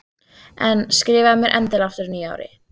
En skrifaðu mér endilega aftur á nýju ári.